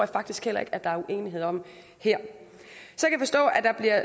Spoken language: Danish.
faktisk heller ikke at der er uenighed om her